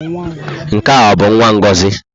Nke ọ bụ nwa Ngozi?